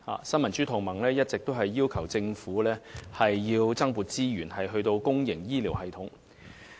新民主同盟一直要求政府增撥資源予公營醫療系統。